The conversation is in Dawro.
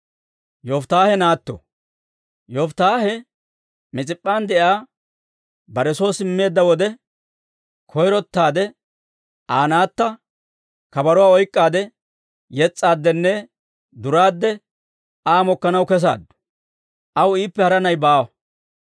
Yofittaahe Mis'ip'p'an de'iyaa bare soo simmeedda wode, koyrottaade Aa naatta kabaruwaa oyk'k'aadde yes's'aaddenne duraadde Aa mokkanaw kesaaddu. Aw iippe hara na'i baawa.